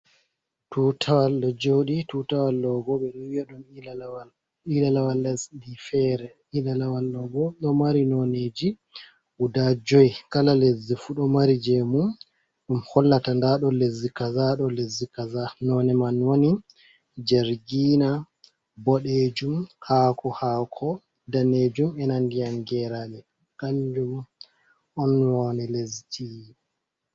Tutawal ɗo joɗi. Tutawal ɗo bo ɓe ɗo wiya ɗum ilalawal, ilalawal lesdi feere. Ilalawal ɗo bo ɗo mari noneji guda joi. Kala lesdi fu ɗo mari jemu ɗum hollata nda ɗo lesdi kaza, ɗo leszi kaza, none man woni jargina, boɗejum, hako-hako, danejum, ena ndiyam geraɗe, kanjum on woni lesdi.